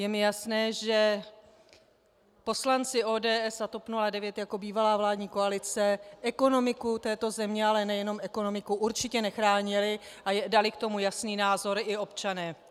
Je mi jasné, že poslanci ODS a TOP 09 jako bývalá vládní koalice ekonomiku této země, ale nejenom ekonomiku, určitě nechránili a dali k tomu jasný názor i občané.